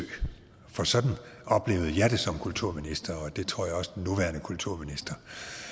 for sådan oplevede jeg det som kulturminister og det tror jeg også at den nuværende kulturminister